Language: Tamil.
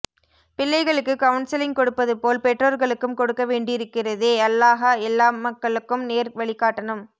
பிள்ளைகளுக்கு கவுன்சலிங் கொடுப்பதுபோல் பெற்றோர்களுக்கும் கொடுக்க வேண்டீருகிறதே அல்லாஹ எல்லாமக்களுக்கும் நேர் வழி காட்டனும்